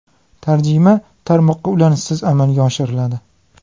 Tarjima tarmoqqa ulanishsiz amalga oshiriladi.